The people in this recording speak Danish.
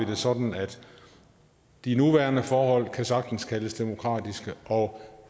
det sådan at de nuværende forhold sagtens kan kaldes demokratiske og